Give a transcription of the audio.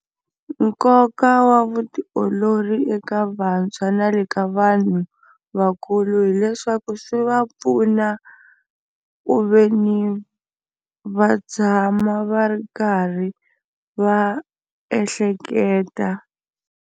Nkoka wa vutiolori eka vantshwa na le ka vanhu vakulu hileswaku swi va pfuna ku veni va tshama va ri karhi va ehleketa.